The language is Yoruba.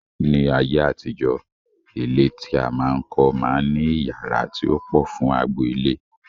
Ní ayé àtijọ́, ilé tí a máa ń kọ́ máa ń ní iyàrá tí ó pọ̀ fún agbo ilé